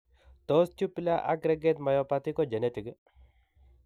Tos tubular aggrehate myopathy ko genetic iih ?